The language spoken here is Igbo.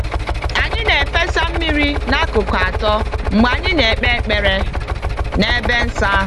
Anyị na-efesa mmiri n'akụkụ atọ mgbe anyị na-ekpe ekpere n'ebe nsọ ahụ.